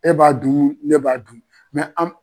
E b'a dun, ne b'a dun an